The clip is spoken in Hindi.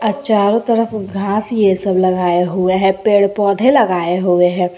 चारों तरफ घास ये सब लगाए हुए हैं पेड़ पौधे लगाए हुए हैं।